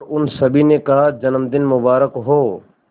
और उन सभी ने कहा जन्मदिन मुबारक हो